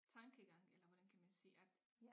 Tankegang eller hvordan kan man sige at